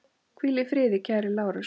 Hvíl í friði kæri Lárus.